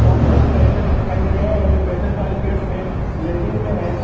यहां पे दो पेशेंट दिखाई दे रहे हैं जो पेशेंट वाली बेड्स पे लेटे हुए हैं।